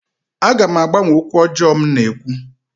Aga m agbanwe okwu ọjọọ m na-ekwu